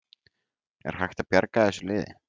Er hægt að bjarga þessu liði?